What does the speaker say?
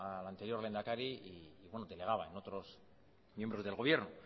al anterior lehendakari y delegaba en otros miembros del gobierno